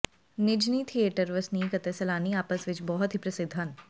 ਨਿਜ੍ਹਨੀ theatre ਵਸਨੀਕ ਅਤੇ ਸੈਲਾਨੀ ਆਪਸ ਵਿੱਚ ਬਹੁਤ ਹੀ ਪ੍ਰਸਿੱਧ ਹਨ